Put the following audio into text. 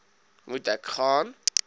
moet ek gaan